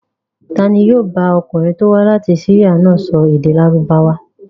Ta ni yóò bá ọkùnrin tó wá láti Syria náà sọ èdè Lárúbáwá?